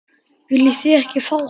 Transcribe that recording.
Viljið þið ekki fá hann?